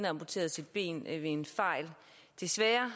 amputeret sit ben ved en fejl desværre